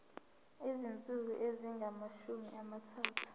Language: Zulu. izinsuku ezingamashumi amathathu